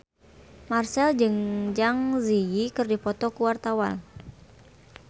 Marchell jeung Zang Zi Yi keur dipoto ku wartawan